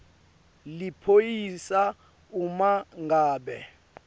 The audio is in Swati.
liphoyisa uma ngabe